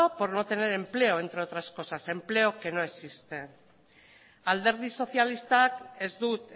por no tener empleo entre otras cosas empleo que no existe alderdi sozialistak ez dut